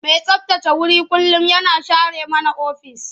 Mai tsabtace wuri kullum yana share mana ofis.